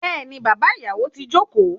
Béèni bàbá ìyàwó ti joko